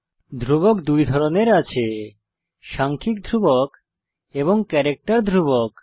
ধ্রুবক দুই ধরনের আছে সাংখ্যিক ধ্রুবক এবং ক্যারেক্টার ধ্রুবক